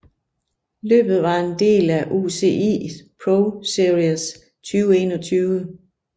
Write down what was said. Løbet var en del af UCI ProSeries 2021